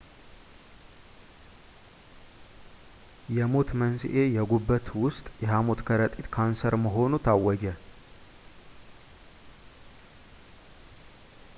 የሞት መንሥኤ የጉበት ውስጥ የሃሞት ከረጢት ካንሰር መሆኑ ታወጀ